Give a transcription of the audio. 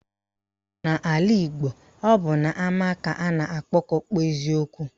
N'ala Igbo, ọ bụ n'ama ka a na-agbakọ kpezie okwu